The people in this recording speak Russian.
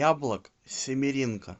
яблок семеренко